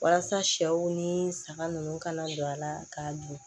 Walasa sɛw ni saga ninnu ka na don a la k'a dun